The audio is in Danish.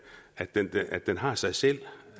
at den den har sig selv